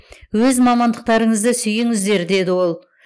өз мамандықтарыңызды сүйіңіздер деді ол